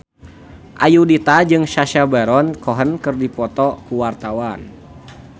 Ayudhita jeung Sacha Baron Cohen keur dipoto ku wartawan